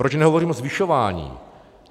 Proč nehovořím o zvyšování.